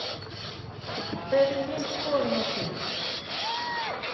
Hver er þín skoðun á því?